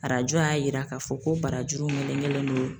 Arajo y'a yira k'a fɔ ko barajuru melegelen no